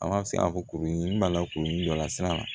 An ka se ka fɔ kuru in b'a la kuru dɔ la sira la